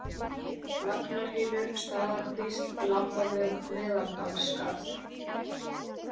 Lagnarhylur, Staðarkvísl, Lambavök, Meðaldalsskarð